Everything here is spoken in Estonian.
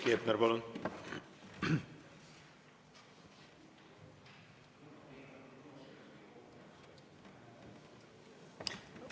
Heiki Hepner, palun!